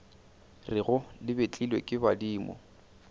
rego le betlilwe ke badimo